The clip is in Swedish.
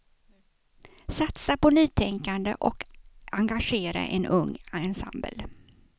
Satsa på nytänkande och engagera en ung ensemble.